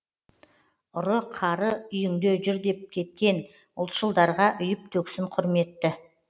ұры қары үйіңде жүр деп кеткен ұлтшылдарға үйіп төксін құрметті